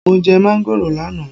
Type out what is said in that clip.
Mo jẹ máángòrò lánàá